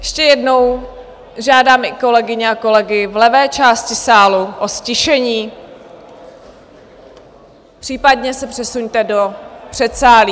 Ještě jednou, žádám i kolegyně a kolegy v levé části sálu o ztišení, případně se přesuňte do předsálí.